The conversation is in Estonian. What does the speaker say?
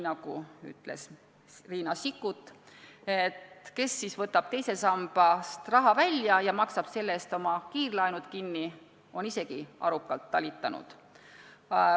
Nagu ütles Riina Sikkut: kes võtab teisest sambast raha välja ja maksab sellega tagasi oma kiirlaenud, on isegi arukalt talitanud.